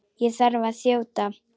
Ég þarf að þjóta.